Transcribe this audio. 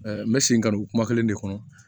n bɛ segin ka don kuma kelen de kɔnɔ